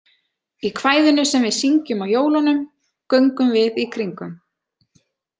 Í kvæðinu sem við syngjum á jólunum, Göngum við í kringum.